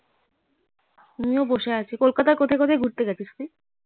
আমি ও বসে আছি কলকাতায় কোথায় কোথায় ঘুরতে গেছিস তুই